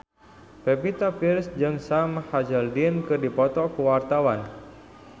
Pevita Pearce jeung Sam Hazeldine keur dipoto ku wartawan